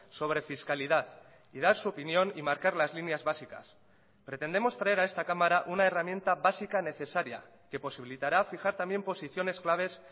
sobre fiscalidad y dar su opinión y marcar las líneas básicas pretendemos traer a esta cámara una herramienta básica necesaria que posibilitara fijar también posiciones claves